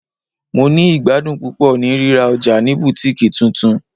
Mo ni igbadun pupọ ni rira ọja ni Butikii tuntun